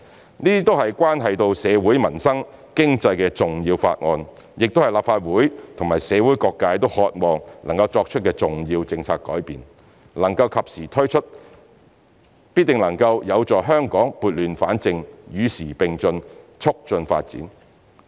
這些都是關係到社會、民生、經濟的重要法案，亦是立法會和社會各界都渴望能作出的重要政策改變，能及時推出，必定能夠有助香港撥亂反正，與時並進，促進發展。